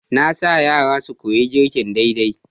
Na sa yara su koyi girki daidai.